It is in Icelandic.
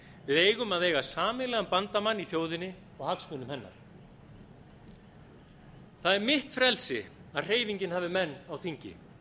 við eigum að eiga sameiginlegan bandamann í þjóðinni og hagsmunum hennar það er mitt frelsi að hreyfingin hafi menn á þingi